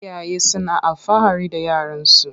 Iyaye suna alfahari da yaran su.